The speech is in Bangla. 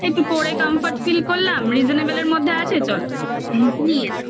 একটু পরে comfort feel করলাম reasonable মধ্যে আছে চলো. হুম. নিয়ে নাও. হ্যা